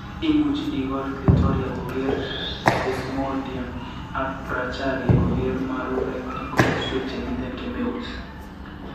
imuch igol clitoria kogeer desmodium ak bracharia kogeer marurek en komoswek chemiten kemeut